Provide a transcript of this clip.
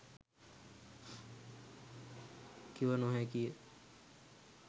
කිව නොහැකිය.